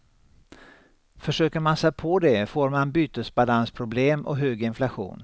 Försöker man sig på det får man bytesbalansproblem och hög inflation.